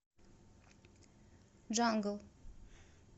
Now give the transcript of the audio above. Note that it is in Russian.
джангл